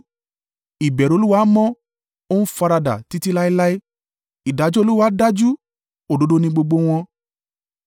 Ìbẹ̀rù Olúwa mọ́, ó ń faradà títí láéláé. Ìdájọ́ Olúwa dájú òdodo ni gbogbo wọn.